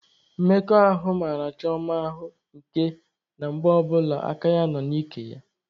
Mmekọ ahụ mara Chioma ahụ nke na mgbe ọbụla aka ya nọ n'ike ya.